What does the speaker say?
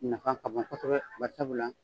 Nafa ka bon kosɛbɛ bari sabula